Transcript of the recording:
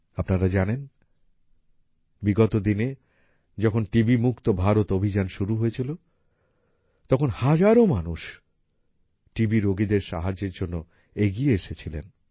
আপনারা জানেন বিগত দিনে যখন টি বি মুক্ত ভারত অভিযান শুরু হয়েছিল তখন হাজারো মানুষ টি বি রোগীদের সাহায্যের জন্য এগিয়ে এসেছিলেন